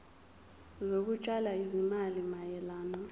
zokutshala izimali mayelana